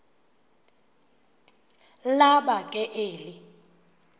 laba ke eli